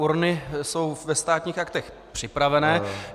Urny jsou ve Státních aktech připravené.